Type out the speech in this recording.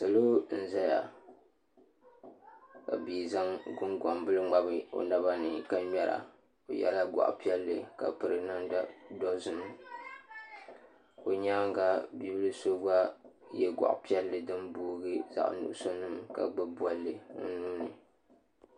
Salo n ʒɛya ka bia zaŋ gungoŋ bili ŋmabi o naba ni ka ŋmɛra o yɛla goɣa piɛlli ka piri namda dozim o nyaanga bia bili so gba yɛ goɣa piɛlli din booi zaɣ nuɣso niŋ ka gbubi bolli o nuuni